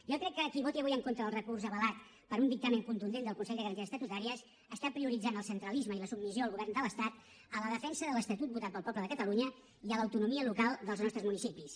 jo crec que qui voti avui en contra del recurs avalat per un dictamen contundent del consell de garanties estatutàries està prioritzant el centralisme i la submissió al govern de l’estat a la defensa de l’estatut votat pel poble de catalunya i a l’autonomia local dels nostres municipis